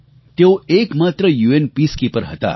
તેઓ એકમાત્ર UN peacekeeper હતા